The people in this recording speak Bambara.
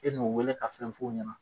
E n'o weele ka fɛn fɔ o ɲɛna.